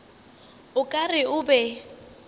o ka re o be